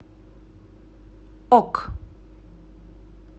ок